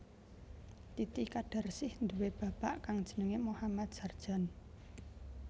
Titi kadarsih nduwé bapak kang jenengé Mohammad Sardjan